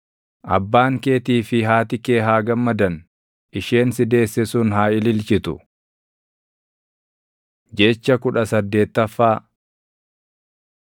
Abbaan keetii fi haati kee haa gammadan; isheen si deesse sun haa ililchitu! Jecha kudha saddeettaffaa